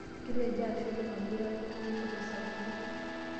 Kitejo ashe oleng amu itareto yiok tesapuko.